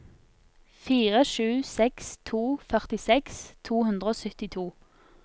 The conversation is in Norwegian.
fire sju seks to førtiseks to hundre og syttito